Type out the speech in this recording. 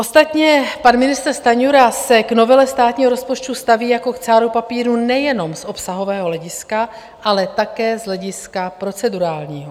Ostatně pan ministr Stanjura se k novele státního rozpočtu staví jako k cáru papíru nejenom z obsahového hlediska, ale také z hlediska procedurálního.